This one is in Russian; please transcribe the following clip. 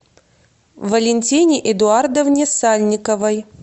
валентине эдуардовне сальниковой